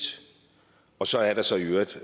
og så er der så i øvrigt